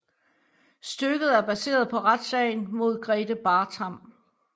Stykket er baseret på retssagen mod Grethe Bartram